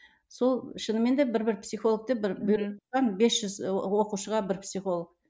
сол шынымен де бір бір психолог деп бір бес жүз оқушыға бір психолог